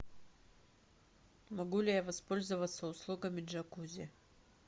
могу ли я воспользоваться услугами джакузи